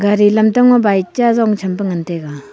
gari lamtang ma bike cha jong tham pe ngan taiga.